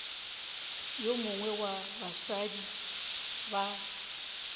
yo mongwe wa basadi ba